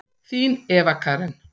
Þín Eva Karen.